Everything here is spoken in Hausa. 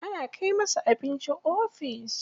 Ana kai masa abinci ofis.